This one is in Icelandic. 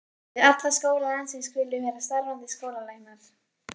Við alla skóla landsins skulu vera starfandi skólalæknar.